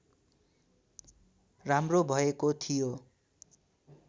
राम्रो भएको थियो